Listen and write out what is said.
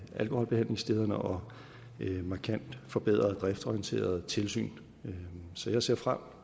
alkoholbehandlingsstederne og et markant forbedret driftsorienteret tilsyn så jeg ser frem